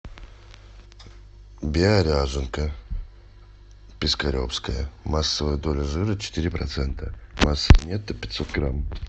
био ряженка пискаревская массовая доля жира четыре процента масса нетто пятьсот грамм